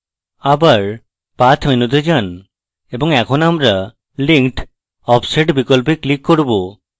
আবার path মেনুতে যান এবং এখন আমরা linked offset বিকল্পে click করব